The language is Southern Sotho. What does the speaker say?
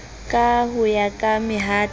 ka ho ya ka mehato